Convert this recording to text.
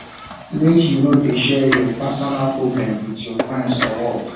make you no dey share your personal problem wit your friends for work